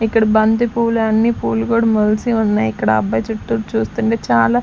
ఇక్కడ బంతి పూలన్నీ పూలు కూడా మొలసి ఉన్నాయి ఇక్కడ అబ్బాయి చుట్టూ చూస్తుంటే చాలా --